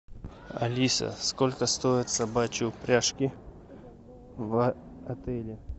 алиса сколько стоят собачьи упряжки в отеле